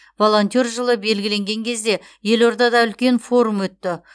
волонтер жылы белгіленген кезде елордада үлкен форум өтті